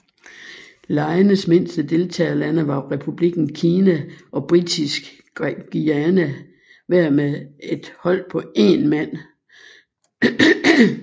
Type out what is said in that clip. Legenes mindste deltagerlande var Republikken Kina og Brittisk Guyana hver med et hold på én mand